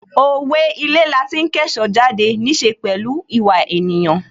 Owe' Ilé lati ń kẹ́ṣọ̀ọ́ jáde' níí ṣe pẹ̀lú ìwà ènìyàn